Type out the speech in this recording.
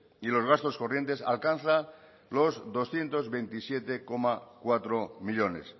y los gastos corrientes alcanza los doscientos veintisiete coma cuatro millónes